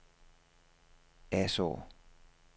Asaa